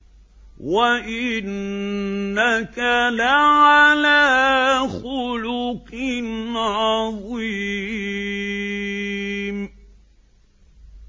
وَإِنَّكَ لَعَلَىٰ خُلُقٍ عَظِيمٍ